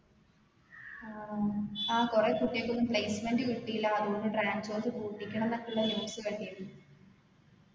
ആഹ് ആ കൊറേ കുട്ടിയൾക്കൊന്നും placement കിട്ടീല പറഞ്ഞു transorze പൂട്ടിക്കണം ന്നൊക്കെയുള്ള news കേട്ടിരുന്നു